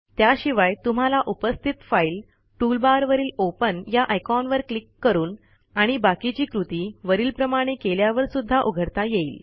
त्याशिवाय तुम्हाला उपस्थित फाईल टूलबार वरील ओपन या आयकॉनवर क्लिक करून आणि बाकीची कृती वरील प्रमाणे केल्यावर सुध्दा उघडता येईल